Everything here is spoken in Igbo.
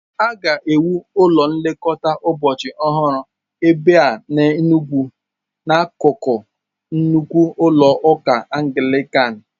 A ga-ewu ụlọ nlekọta ụbọchị ọhụrụ ebe a n'Enugwu, n'akụkụ nnukwu ụlọ ụka Anglican.